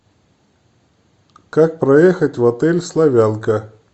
как проехать в отель славянка